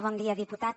bon dia diputat